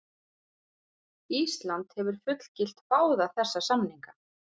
Ísland hefur fullgilt báða þessa samninga.